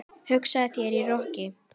Hugsaðu þér- í roki!